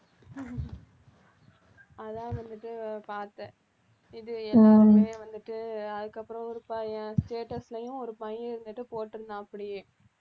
அதான் வந்துட்டு பாத்தேன் இது எல்லாமே வந்துட்டு அதுக்கப்புறம் ஒரு பையன் status லயும் ஒரு பையன் இருந்துட்டு போட்டிருந்தான் அப்படியே